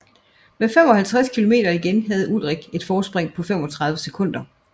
Med 55 kilometer igen havde Ullrich et forspring på 35 sekunder